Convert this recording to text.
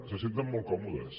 se senten molt còmodes